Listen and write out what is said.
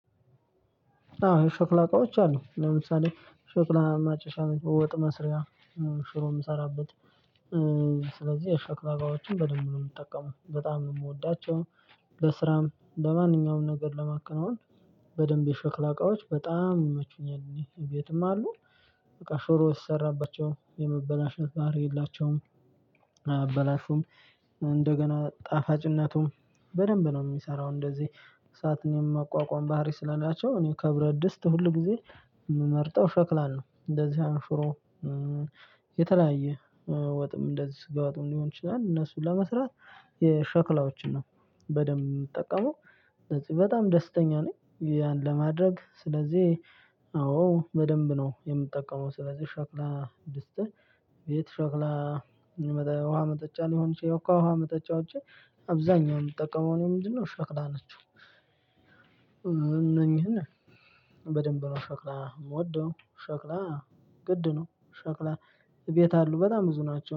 አዎ የሸክላ እቃዎች አሉ ለምሳሌ ሸክላ ማጨሻ ወጥ መስሪያ ሽሮ የምሰራበት። ስለዚህ የሸክላ እቃዎችን በደንብ ነው የምጠቀመው በጣም ነው የምወዳቸው። በስራም በማንኛውም ነገር ለማከናወን በደንብ የሸክላ እቃዎች በጣም ይመቹኛል። ይሄ ቤትም አሉ። በቃ ሽሮ ሲሰራባቸው የመበላሸት ባህሪ የላቸውም አያበላሹም። እንደገና ጣፋጭነቱም በደንብ ነው የሚሰራው እንደዚህ። እሳትን የማቋቋም ባህሪ ስላላቸው እኔ ከብረት ድስት ሁል ጊዜ ምመርጠው ሸክላን ነው እንደዚህ አሁን ሽሮ። የተለያየ ወጥም እንደዚህ ስጋ ወጥም ሊሆን ይችላል። እነሱን ለመስራት የሸክላዎችን ነው በደንብ የምጠቀመው። እነዚህ በጣም ደስተኛ ነኝ። ያን ለማድረግ ስለዚህ አዎ በደንብ ነው የምጠቀመው። ስለዚህ ሸክላ ድስት ቤት ሸክላ የሚመጣ የውሃ መጠጫ ሊሆን ይችላል። ከውሃ መጠጫዎች አብዛኛው የምጠቀመው እኔ ምንድነው ሸክላ ናችው? እነኚህን በደንብ ነው ሸክላ የምወደው። ሸክላ ግድ ነው ሸክላ እቤት አሉ በጣም ብዙ ናቸው